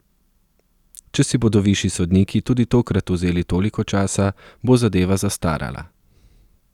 Če si bodo višji sodniki tudi tokrat vzeli toliko časa, bo zadeva zastarala.